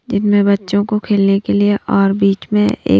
जिनमें बच्चों को खेलने के लिए और बीच में एक--